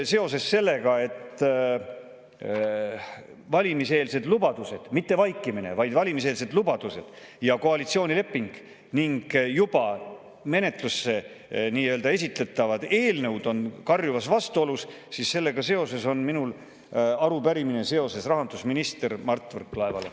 Seoses sellega, et valimiseelsed lubadused – mitte vaikimine, vaid valimiseelsed lubadused – ja koalitsioonileping ning juba menetlusse esitatavad eelnõud on karjuvas vastuolus, on mul arupärimine rahandusminister Mart Võrklaevale.